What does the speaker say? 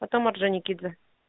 потом орджоникидзе